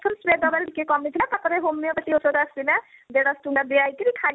spray ଦବା ରୁ ଟିକେ କମିଥିଳା ତାପରେ homeopatic ଔଷଧ ଆସିଥିଲା ଦେଢ଼ ସହ ଟଙ୍କା ଦିଆ ହେଇକିରି